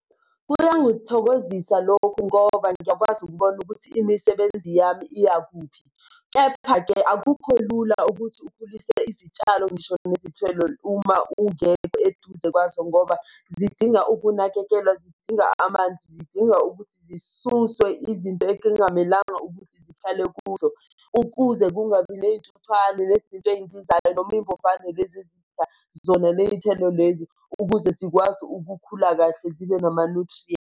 Kuyangithokozisa lokhu ngoba ngiyakwazi ukubona ukuthi imisebenzi yami iyakuphi. Kepha-ke akukho lula ukuthi ukhulise izitshalo ngisho nezithelo uma ungekho eduze kwazo ngoba zidinga ukunakekelwa, zidinga amanzi, zidinga ukuthi zisuswe izinto ezingamelanga ukuthi zihlale kuzo ukuze kungabi ney'ntuthwane nezinto ey'ncinzayo noma iy'mbovane lezi ezidla zona ley'thelo lezi, ukuze zikwazi ukukhula kahle zibe nama-nutrients.